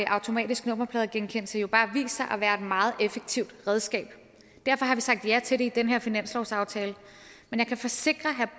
automatisk nummerpladegenkendelse bare vist sig at være et meget effektivt redskab derfor har vi sagt ja til det i den her finanslovsaftale men jeg kan forsikre herre